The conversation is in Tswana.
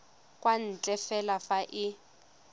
kwa ntle fela fa e